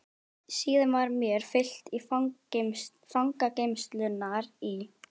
Síðan var mér fylgt í fangageymslurnar í